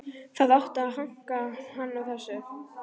Það átti að hanka hann á þessu.